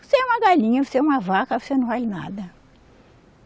Você é uma galinha, você é uma vaca, você não vale nada.